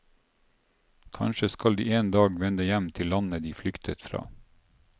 Kanskje skal de en dag vende hjem til landet de flyktet fra.